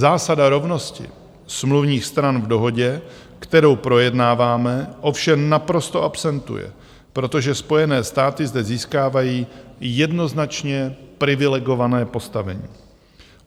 Zásada rovnosti smluvních stran v dohodě, kterou projednáváme, ovšem naprosto absentuje, protože Spojené státy zde získávají jednoznačně privilegované postavení.